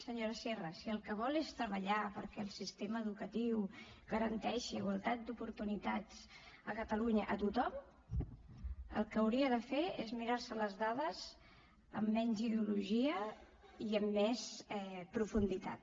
senyora sierra si el que vol és treballar perquè el sistema educatiu garanteixi igualtat d’oportunitats a catalunya a tothom el que hauria de fer és mirar se les dades amb menys ideologia i amb més profunditat